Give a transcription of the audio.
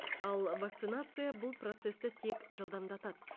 ал вакцинация бұл процесті тек жылдамдатады